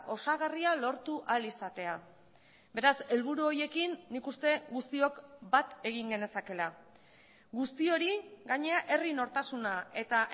osagarria lortu ahal izatea beraz helburu horiekin nik uste guztiok bat egin genezakeela guzti hori gainera herri nortasuna eta